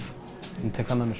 ég tek það með mér